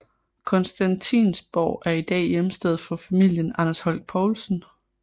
Constantinsborg er i dag hjemsted for familien Anders Holch Povlsen